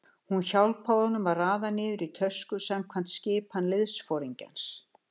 Hún hjálpaði honum að raða niður í tösku samkvæmt skipan liðsforingjans.